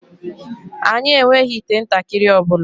Anyị enweghị ite ntakịrị ọ bụla